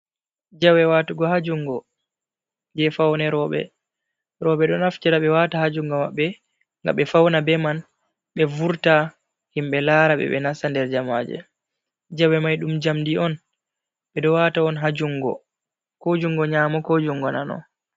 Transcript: Jawe watugo ha jungo je fane roɓɓe, roɓɓe ɗo naftira ɓe wata ha jungo maɓɓe nga ɓe fauna be man, ɓe vurta himɓɓe lara ɓe. Ɓe nasta nder jamaje jawe mai ɗum jamɗi on ɓeɗo wata on ha jungo nyamo, ko jungo nano.